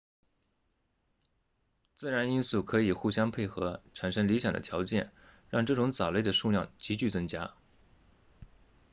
自然因素可以互相配合产生理想的条件让这种藻类的数量急剧增加